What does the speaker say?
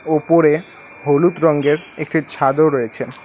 উপরে হলুদ রঙ্গের একটি ছাদ ও রয়েছে।